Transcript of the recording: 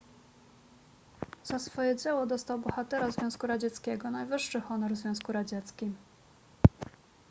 za swoje dzieło dostał bohatera związku radzieckiego najwyższy honor w związku radzieckim